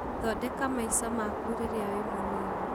Thondeka maica maku rĩrĩa wĩ mũnini